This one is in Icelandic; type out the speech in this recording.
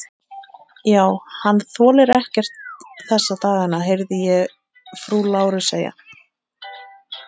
Já, hann þolir ekkert þessa dagana, heyrði ég frú Láru segja.